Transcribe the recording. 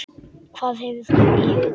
Hvað hefur þú í huga?